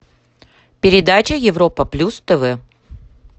передача европа плюс тв